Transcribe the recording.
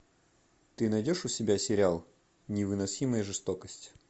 ты найдешь у себя сериал невыносимая жестокость